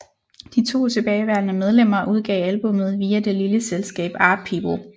De to tilbageværende medlemmer udgav albummet via det lille selskab ArtPeople